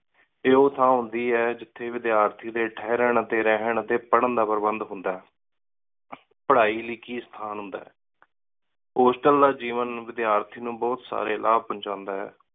ਇਹ ਓਹ ਥਾਂ ਹੁੰਦੀ ਹੈ ਜਿਥਯ ਵਿਦ੍ਯਾਰਤੀ ਡੀ ਠੇਹ੍ਰਾਂ ਟੀ ਰੇਹਾਨ ਟੀ ਪਰ੍ਹਾਂ ਦਾ ਪ੍ਰਬੰਦ ਹੁੰਦਾ ਹੈ ਪਢ਼ਾਈ ਲੌਇ ਕਿ ਸਥਾਨ ਹੁੰਦਾ ਹੈ। ਹੋਸਟਲ ਦਾ ਜੀਵਨ ਵਿਦਯਾਰਥੀ ਨੂੰ ਬੋਹਤ ਸਾਰੇ ਲਾਭ ਪੋੰਚਾਦਾ ਹੈ।